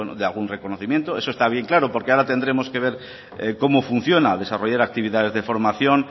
de algún reconocimiento eso está bien claro porque ahora tendremos que ver cómo funciona desarrollar actividades de formación